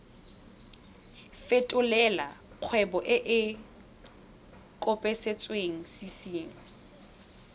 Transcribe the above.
fetolela kgwebo e e kopetswengcc